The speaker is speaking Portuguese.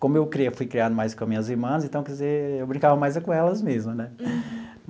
Como eu cre fui criado mais com as minhas irmãs, então, quer dizer, eu brincava mais é com elas mesmo, né?